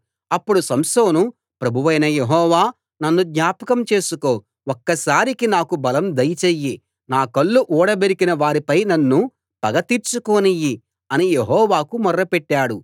అప్పుడు సంసోను ప్రభువైన యెహోవా నన్ను జ్ఞాపకం చేసుకో ఒక్కసారికి నాకు బలం దయచెయ్యి నా కళ్ళు ఊడబెరికిన వారిపై నన్ను పగ తీర్చుకోనీయి అని యెహోవాకు మొర్ర పెట్టాడు